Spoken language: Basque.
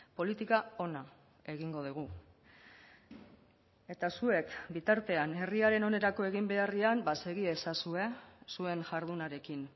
politika ona egingo dugu eta zuek bitartean herriaren onerako egin beharrean ba segi ezazue zuen jardunarekin